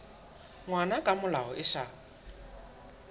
ngwana ka molao e sa